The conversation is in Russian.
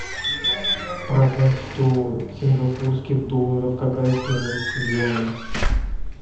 продать сто сингапурских долларов какая стоимость в юанях